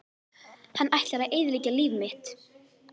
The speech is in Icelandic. Hann ætlar að eyðileggja líf mitt!